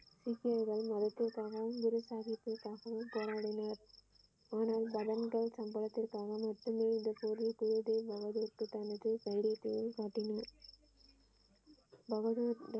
சீக்கியர்கள் மதத்திற்காகவும் குரு சாகிப்பிற்காகவும் போராடினர் ஆனால் மதங்கள் சம்பவத்திற்காக மட்டுமே இந்த போர் தைரியத்தையும் காட்டினார பகதூர்.